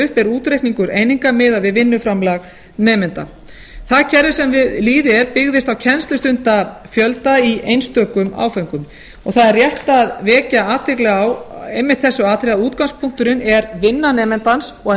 upp er útreikningur eininga miðað við vinnuframlag nemanda það kerfi sem í lýði er byggðist á kennslustundafjölda í einstökum áföngum það er rétt að vekja athygli á einmitt þessu atriði að útgangspunkturinn er vinna nemandans og að